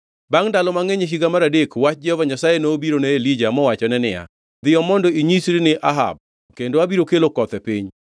Bangʼ ndalo mangʼeny, e higa mar adek, wach Jehova Nyasaye nobiro ne Elija mowachone niya, “Dhiyo mondo inyisri ni Ahab kendo abiro kelo koth e piny.”